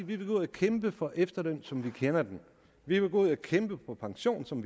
vi vil gå ud og kæmpe for efterlønnen som man kender den vi vil gå ud og kæmpe for pensionen som